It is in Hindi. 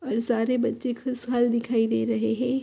और सारे बच्चे खुशहाल दिखाई दे रहे हे।